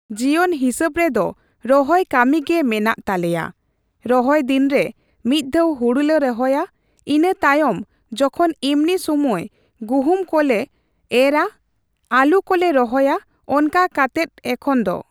ᱡᱤᱭᱚᱱ ᱦᱤᱥᱟᱹᱵ ᱨᱮᱫᱚ ᱨᱚᱦᱚᱭ ᱠᱟᱢᱤ ᱜᱮ ᱢᱮᱱᱟᱜ ᱛᱟᱞᱮᱭᱟ ᱾ᱨᱚᱦᱚᱭ ᱫᱤᱱᱨᱮ ᱢᱤᱫ ᱫᱷᱟᱣ ᱦᱩᱲᱩᱞᱮ ᱨᱚᱦᱚᱭᱟ ᱤᱱᱟᱹ ᱛᱟᱭᱚᱢ ᱡᱚᱠᱷᱚᱱ ᱮᱢᱱᱤ ᱥᱩᱢᱟᱹᱭ ᱜᱩᱦᱩᱢ ᱠᱚᱞᱮ ᱮᱨᱟ ᱟᱹᱞᱩ ᱠᱚᱞᱮ ᱨᱚᱦᱚᱭᱟ ᱚᱱᱠᱟ ᱠᱟᱛᱮᱫ ᱮᱠᱷᱚᱱ ᱫᱚ᱾